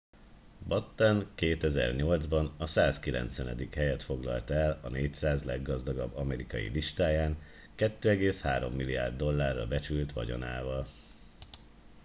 batten 2008 ban a 190. helyet foglalta el a 400 leggazdagabb amerikai listáján 2,3 milliárd dollárra becsült vagyonával